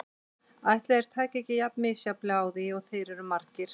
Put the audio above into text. Ætli þeir tækju ekki jafn misjafnlega á því og þeir eru margir.